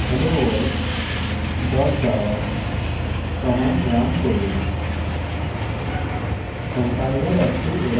javac helloworld dot java command run run